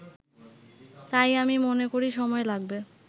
তাই আমি মনে করি সময় লাগবে